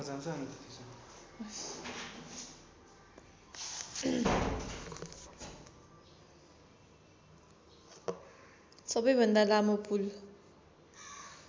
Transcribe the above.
सबैभन्दा लामो पुल